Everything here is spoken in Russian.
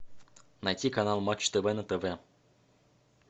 найти канал матч тв на тв